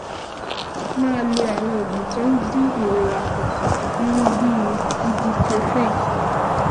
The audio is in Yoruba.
Máa lo àwọn oògùn tó ń dín ìrora kù, irú bíi ibuprofen